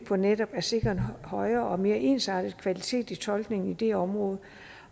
for netop at sikre en højere og mere ensartet kvalitet i tolkningen dette område